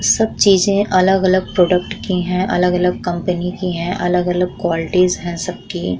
सब चीज़े अलग-अलग प्रोडक्ट की हैं। अलग-अलग कंपनी की है। अलग-अलग क्वालिटीज़ है सबकी।